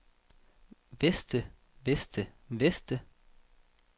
veste veste veste